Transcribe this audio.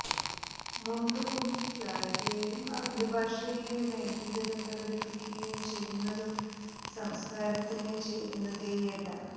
മുണ്ടു പൊക്കി കാണിക്കുകയും ആംഗ്യഭാഷയില് ലൈംഗീകത പ്രകടിപ്പിക്കുകയും ചെയ്യുന്നതും സംസ്കാരത്തിന് ചേരുന്നതേയല്ല